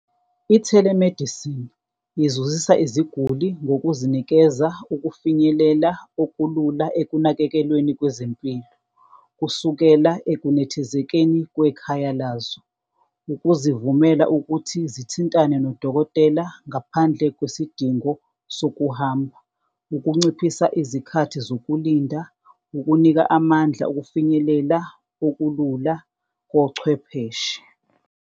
I-telemedicine izuzisa iziguli ngokuzinikeza ukufinyelela okulula ekunakekelweni kwezempilo kusukela ekunethezekeni kwekhaya lazo, ukuzivumela ukuthi zithintane nodokotela, ngaphandle kwesidingo sokuhamba, ukunciphisa izikhathi zokulinda, ukunika amandla, okufinyelela okulula kochwepheshe.